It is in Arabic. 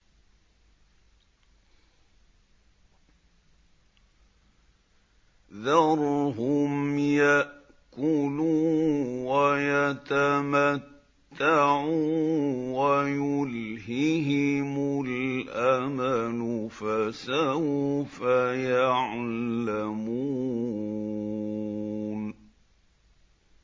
ذَرْهُمْ يَأْكُلُوا وَيَتَمَتَّعُوا وَيُلْهِهِمُ الْأَمَلُ ۖ فَسَوْفَ يَعْلَمُونَ